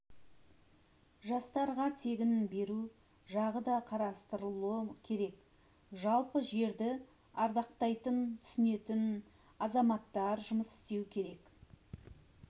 жастарға тегін беру жағы да қарастырылуы керек жалпы жерді ардақтайтын түсінетін азаматтар жұмыс істеуі керке